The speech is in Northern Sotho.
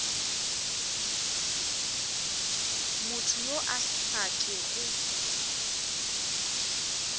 motho yo a sa kego